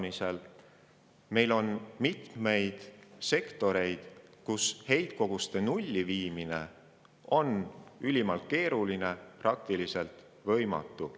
Aga meil on mitmeid sektoreid, kus heitkoguste nulli viimine kliimaneutraalsuse saavutamiseks on ülimalt keeruline, praktiliselt võimatu.